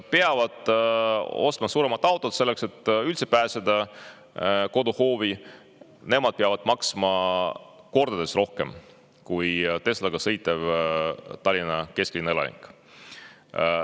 … peavad ostma suurema auto, selleks et üldse pääseda koduhoovi, peavad maksma kordades rohkem kui Teslaga sõitev Tallinna kesklinna elanik.